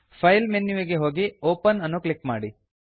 file file menu ವಿಗೆ ಹೋಗಿ open open ಅನ್ನು ಕ್ಲಿಕ್ ಮಾಡಿ